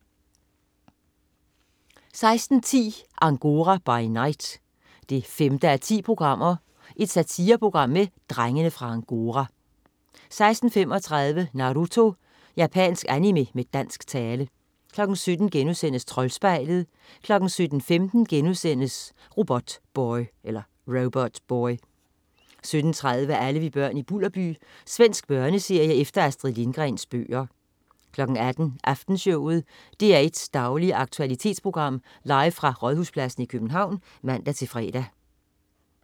16.10 Angora by night 5:10. Satireprogram med "Drengene fra Angora" 16.35 Naruto. Japansk animé med dansk tale 17.00 Troldspejlet* 17.15 Robotboy* 17.30 Alle vi børn i Bulderby. Svensk børneserie efter Astrid Lindgrens bøger 18.00 Aftenshowet. DR1's daglige aktualitetsprogram, live fra Rådhuspladsen i København (man-fre)